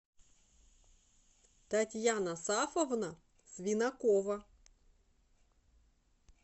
татьяна сафовна свинакова